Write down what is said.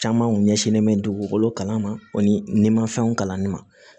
Caman kun ɲɛsinlen bɛ dugukolo kalama ani mafɛnw kalanni ma